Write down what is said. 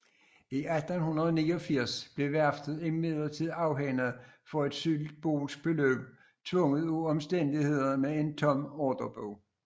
I 1989 blev værftet imidlertid afhændet for et symbolsk beløb tvunget af omstændighederne med en tom ordrebog